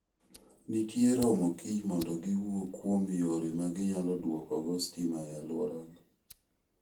Nitie romo kiny mondo giwuo kuom yore ma ginyalo duokogo sitima e alworagi.